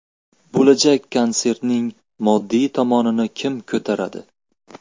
Bo‘lajak konsertning moddiy tomonini kim ko‘taradi?